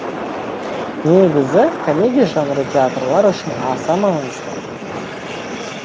негізі комедия жанры театрлар үшін аса маңызды